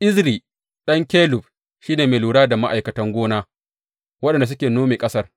Ezri ɗan Kelub shi ne mai lura da ma’aikatan gona waɗanda suke nome ƙasar.